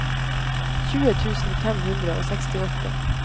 tjue tusen fem hundre og sekstiåtte